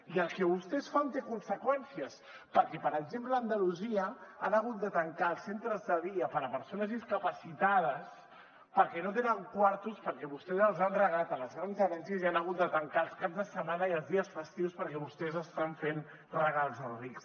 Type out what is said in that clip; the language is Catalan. i el que vostès fan té conseqüències perquè per exemple a andalusia han hagut de tancar els centres de dia per a persones discapacitades perquè no tenen quartos perquè vostès els han regalat a les grans herències i han hagut de tancar els caps de setmana i els dies festius perquè vostès estan fent regals als rics